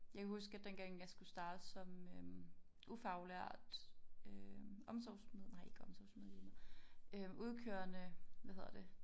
Jeg kan huske at dengang jeg skulle starte som øh ufaglært øh omsorgs nej ikke omsorgsmedhjælper øh udkørende hvad hedder det